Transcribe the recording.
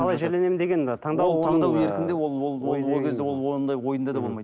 қалай жерленемін деген ы таңдау ол таңдау еркінде ол кезде ол ондай ойында да болмайды